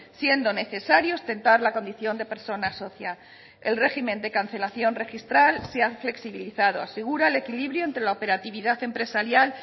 siendo necesario ostentar la condición de persona socia el régimen de cancelación registral se ha flexibilizado asegura el equilibrio entre la operatividad empresarial